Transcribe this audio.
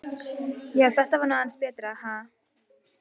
Já, þetta var nú aðeins betra, ha!